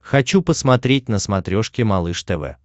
хочу посмотреть на смотрешке малыш тв